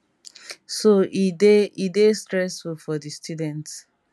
so e dey e dey stressful for di students